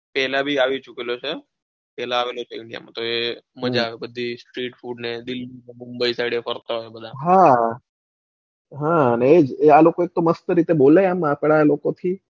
પેલા બી આવી ચુકેલો છે પેલા આવેલો છે india તો એ મજા આવે પછી street food દિલ્હી ને મુંબઈ side ફરતા હોય બધા હા હા આ લોકો પેલા તો મસ્ત રીતે બોલે આપડા લોકો થી,